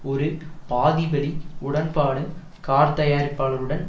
ஒரு பாதி வழி உடன்பாடு கார்த்தயாரிப்பாளருடன்